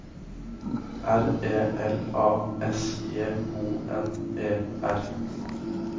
R E L A S J O N E R